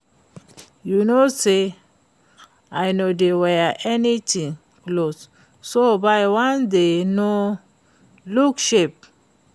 You no say I no dey wear any tight cloth so buy the wan wey no look sharp